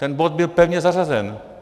Ten bod byl pevně zařazen.